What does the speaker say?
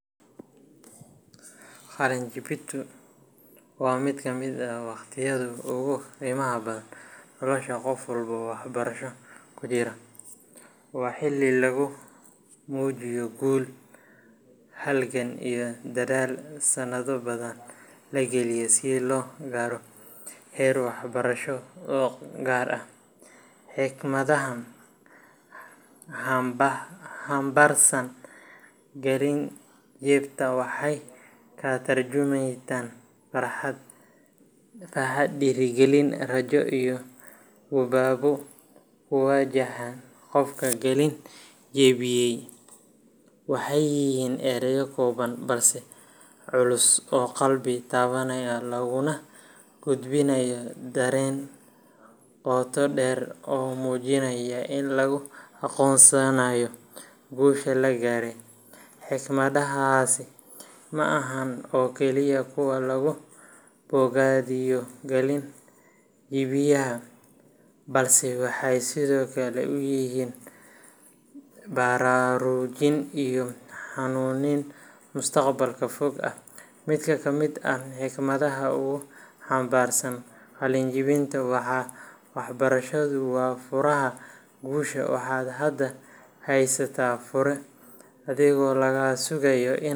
Qalin jebintu waa mid ka mid ah waqtiyada ugu qiimaha badan nolosha qof walba waxbarasho ku jira. Waa xilli lagu muujiyo guul, halgan iyo dadaal sannado badan la galiyay si loo gaaro heer waxbarasho oo gaar ah. Hikmadaha hambarsan qalin jebinta waxay ka tarjuntaan farxad, dhiirigelin, rajo iyo guubaabo ku wajahan qofka qalin jebiyay. Waxay yihiin erayo kooban balse culus oo qalbi taabanaya, laguna gudbinayo dareen qoto dheer oo muujinaya in la aqoonsanayo guusha la gaaray. Hikmadahaasi ma aha oo kaliya kuwa lagu bogaadiyo qalin jebiyaha, balse waxay sidoo kale u yihiin baraarujin iyo hanuunin mustaqbalka fog ah. Mid ka mid ah hikmadaha ugu hambarsan qalin jebinta waa "Waxbarashadu waa furaha guusha waxaad hadda haysataa fure, adigaa laga sugayaa.